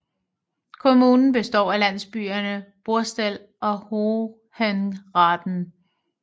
Kommunen består af landsbyerne Borstel og Hohenraden